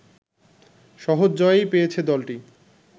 সহজ জয়ই পেয়েছে দলটি